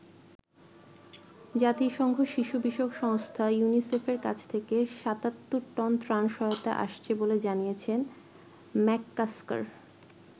জাতিসংঘ শিশু বিষয়ক সংস্থা ইউনিসেফের কাছ থেকে ৭৭ টন ত্রাণ সহায়তা আসছে বলে জানিয়েছেন ম্যাককাস্কার।